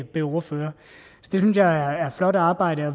blev ordfører det synes jeg er flot arbejde og